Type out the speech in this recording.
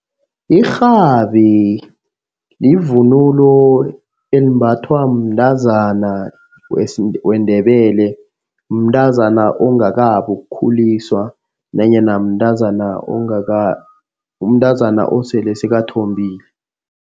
Irhabi livunulo elimbathwa mntazana weNdebele, mntazana ongakabi ukhuliswa nanyana mntazana mntazana osele sakathombile.